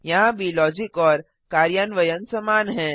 यहाँ भी लॉजिक और कार्यान्वयन समान हैं